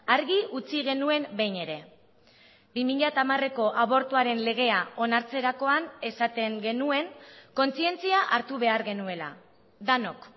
argi utzi genuen behin ere bi mila hamareko abortuaren legea onartzerakoan esaten genuen kontzientzia hartu behar genuela denok